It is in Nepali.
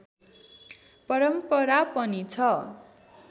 परम्परा पनि छ